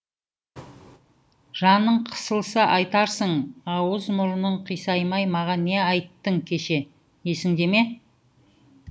жаның қысылса айтарсың ауыз мұрының қисаймай маған не айттың кеше есіңде ме